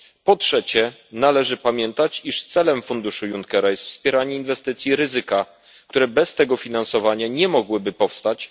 Po trzecie, należy pamiętać, iż celem funduszu Junckera jest wspieranie inwestycji ryzyka, które bez tego finansowania nie mogłyby powstać.